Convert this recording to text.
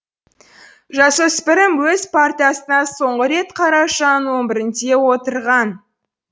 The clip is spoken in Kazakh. жасөспірім өз партасына соңғы рет қарашаның он бірінде отырған